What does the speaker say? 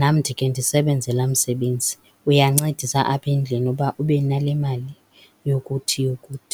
nam ndike ndisebenze laa msebenzi. Uyancedisa apha endlini uba ube nale mali yokuthi, yokuthi.